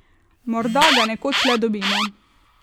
Morda ga nekoč le dobimo.